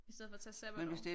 I stedet for at tage sabbatår